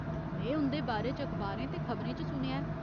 में उं'दे बारे च अखबारें ते खबरें च सुनेआ ऐ।